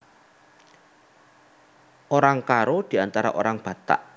Orang Karo Diantara Orang Batak